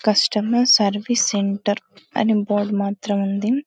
customer service centre అని board మాత్రం ఉంది